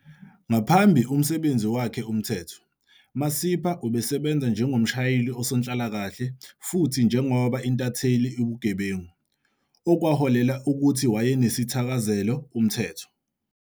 Ngaphambi umsebenzi wakhe umthetho, Masipa ubesebenza njengomshayeli usonhlalakahle futhi njengoba intatheli ubugebengu, okwaholela ukuthi wayenesithakazelo umthetho.